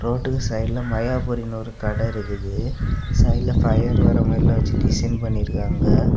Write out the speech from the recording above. ரோட்டுக்கு சைடுல மயாபுறின்னு ஒரு கடை இருக்குது சைடுல பையர் வர மாதிரிலா வெச்சு டிசைன் பண்ணிருக்காங்க.